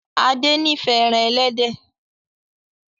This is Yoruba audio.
Ade n'ifẹ èràn elédè.